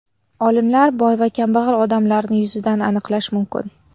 Olimlar: Boy va kambag‘al odamlarni yuzidan aniqlash mumkin.